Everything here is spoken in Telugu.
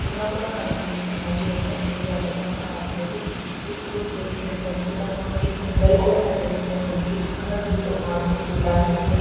చెరువుల కూడా కనిపిస్తుంది. మరి ఏంటో తెలియలేదు అర్థం కావట్లేదు చుట్టూ చెట్లు ఎంత అద్భుతంగా ఉంది. కొండలు కూడా కనిపిస్తూనే మనకు చాలా అద్భుతంగా ఉంది చూడ్డానికి అయితే.